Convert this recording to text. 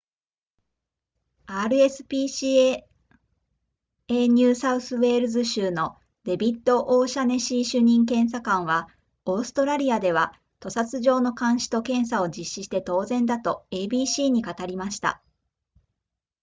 rspca ニューサウスウェールズ州のデビッドオシャネシー主任検査官はオーストラリアでは屠殺場の監視と検査を実施して当然だと abc に語りました